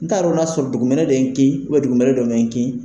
N ta don n'a sɔrɔ dugumɛnɛ de ye n kin dugumɛnɛ do ma n kin.